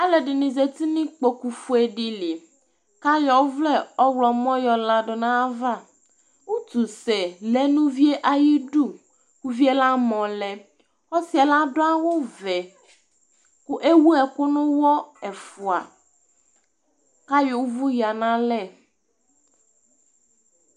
Alʋɛdɩnɩ zati nʋ ikpokufue dɩ li kʋ ayɔ ɔvlɛ ɔɣlɔmɔ yɔ ladʋ nʋ ayava Utusɛ lɛ nʋ uvi yɛ ayidu Uvi yɛ amɔ lɛ Ɔsɩ yɛ adʋ awʋvɛ kʋ ewu ɛkʋ nʋ ʋɣɔ ɛfʋa kʋ ayɔ ʋvʋ yǝ nʋ alɛ